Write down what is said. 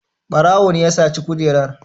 Ɓarawo ne ya saci kujerar.